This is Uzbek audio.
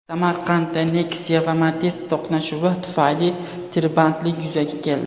Samarqandda Nexia va Matiz to‘qnashuvi tufayli tirbandlik yuzaga keldi .